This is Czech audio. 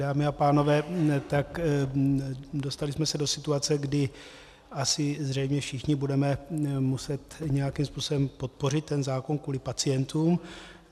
Dámy a pánové, tak dostali jsme se do situace, kdy asi zřejmě všichni budeme muset nějakým způsobem podpořit ten zákon kvůli pacientům.